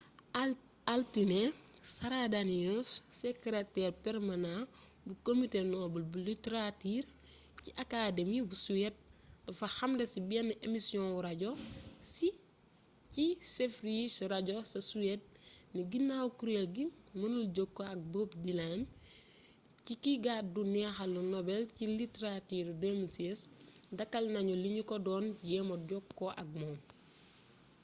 altine sara danius sekreteer permanaa bu comité nobel bu literature ci academi bu suede dafa xamle ci benn emisioŋu rajo ci sveriges radio ca suède ni ginaaw kuréel gi mënul jokkoo ak bob dylan ci ki gàddu neexalu nobel ci literature 2016 dakkal nañu li ñu ko doon jéema jokkoo ak moom